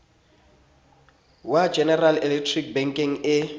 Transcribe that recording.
wa general electric bekeng e